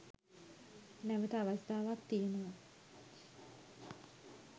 නැවත අවස්ථාවක් තියෙනවා.